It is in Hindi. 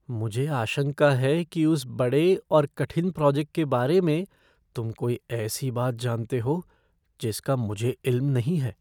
मुझे आशंका है कि उसे बड़े और कठिन प्रोजेक्ट के बारे में तुम कोई ऐसी बात जानते हो जिसका मुझे इल्म नहीं है।